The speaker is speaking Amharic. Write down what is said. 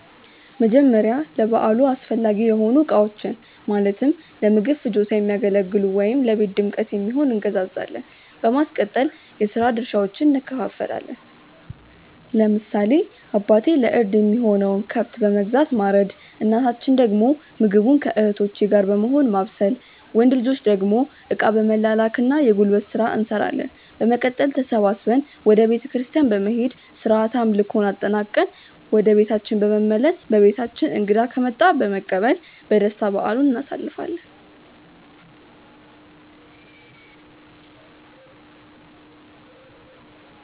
መጀመርያ ለበዓሉ አስፈላጊ የሆኑ እቃዎችን(ለምግብ ፍጆታ የሚያገለግሉ ወይም ለቤት ድምቀት የሚሆን)እንገዛዛለን። በማስቀጠል የስራ ድርሻዎችን እንከፋፈላለን። ለምሳሌ አባቴ ለእርድ የሚሆነውን ከብት በመግዛት ማረድ እናታችን ደግሞ ምግቡን ከእህቶቼ ጋር በመሆን ማብሰል። ወንድ ልጆች ደግሞ እቃ በመላላክ እና የጉልበት ስራ እንሰራለን። በመቀጠል ተሰብስበን ወደ ቤተክርስቲያን በመሄድ ስርዓተ አምልኮውን አጠናቅቀን ወደ ቤታችን በመመለስ በቤታችን እንግዳ ከመጣ በመቀበል በደስታ በዓሉን እናሳልፋለን።